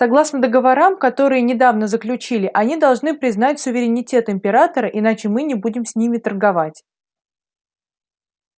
согласно договорам которые недавно заключили они должны признать суверенитет императора иначе мы не будем с ними торговать